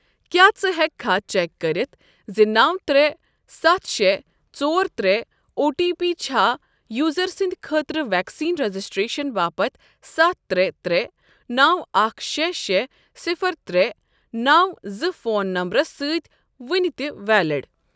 کیٛاہ ژٕ ہیٚککھا چیک کٔرِتھ زِ نو ترےٚ ستھ شےٚ ژور ترےٚ او ٹی پی چھا یوزر سٕنٛدۍ خٲطرٕ ویکسین رجسٹریشن باپتھ ستھ ترےٚ ترےٚ نو اکھ شےٚ شےٚ صفر ترےٚ نو زٕ فون نمبرَس سۭتۍ وُنہِ تہِ ویلِڑ؟